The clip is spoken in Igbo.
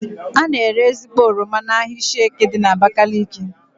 A na-ere ezigbo oroma n'ahia Ishieke dị n'Abakaliki